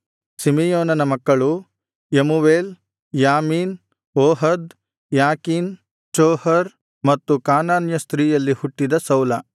ಸಿಮೆಯೋನನ ಮಕ್ಕಳು Jemuel Jamin Ohad Jachin Zohar ಮತ್ತು ಕಾನಾನ್ಯ ಸ್ತ್ರೀಯಲ್ಲಿ ಹುಟ್ಟಿದ ಸೌಲ